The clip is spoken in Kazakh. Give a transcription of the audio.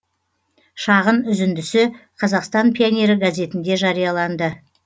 шағын үзіндісі қазақстан пионері газетінде жарияланды